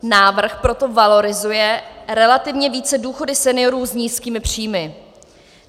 Návrh proto valorizuje relativně více důchody seniorů s nízkými příjmy.